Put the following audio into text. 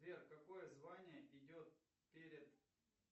сбер какое звание идет перед